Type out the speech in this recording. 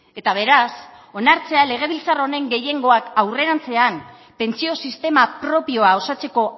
eta beraz onartzea legebiltzar honen gehiengoak aurrerantzean pentsio sistema propioa osatzeko